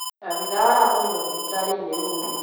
Abithaa aratũmirwo thibitarĩ-inĩ ũngĩ